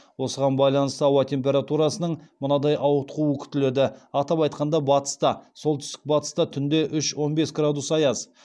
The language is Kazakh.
осыған байланысты ауа температурасының мынадай ауытқуы күтіледі атап айтқанда батыста солтүстік батыста түнде үш он бес градус аяз